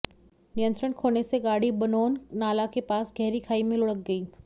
नियंत्रण खोने से गाड़ी बनोन नाला के पास गहरी खाई में लुढ़क गई